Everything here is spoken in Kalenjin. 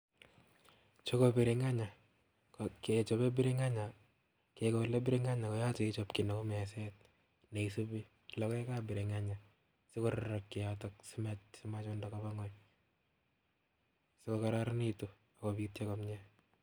Chuu ko biringenge ko kechobe biringenge kekole biringenge koyoche ichob kiit neu meset neisubi lokoekab biringenge, sikororokyi yotok simachunda kobaa ngweny siko kororonitu akobitio komnye.